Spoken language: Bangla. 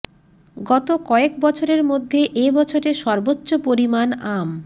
গত কয়েক বছরের মধ্যে এ বছরে সর্বোচ্চ পরিমান আম